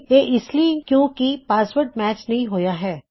ਇਹ ਇਸ ਲਈ ਕਿੳਂ ਕਿ ਪਾਸਵਰਡ ਮੈਚ ਨਹੀ ਹੋਇਆ ਸੀ